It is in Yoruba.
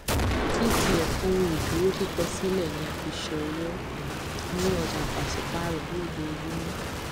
etf ohun ìdúró kíkọsílẹ ni a fi ṣòwò um ní ọjà pàṣípààrọ lojoojúmọ